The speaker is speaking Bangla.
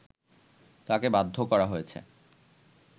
তাকে বাধ্য করা হয়েছে